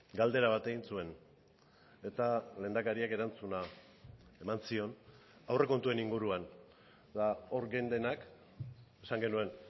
galdera bat egin zuen eta lehendakariak erantzuna eman zion aurrekontuen inguruan eta hor geundenak esan genuen